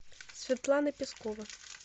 светлана пескова